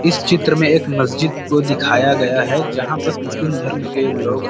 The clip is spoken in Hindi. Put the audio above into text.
इस चित्र में एक मस्जिद को दिखाया गया है जहाँ पास मुस्लिम धर्म के लोग--